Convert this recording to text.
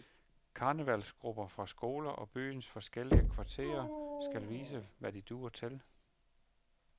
Karnevalsgrupper fra skoler og byens forskellige kvarterer skal vise, hvad de duer til.